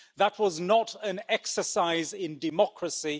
That was not an exercise in democracy.